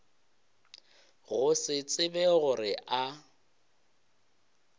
go se tsebe gore a